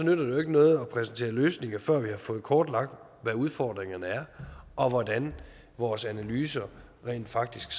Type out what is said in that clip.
jo ikke noget at præsentere løsninger før vi har fået kortlagt hvad udfordringerne er og hvordan vores analyse rent faktisk